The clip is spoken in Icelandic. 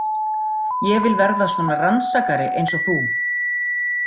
Ég vil verða svona rannsakari eins og þú